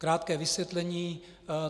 Krátké vysvětlení.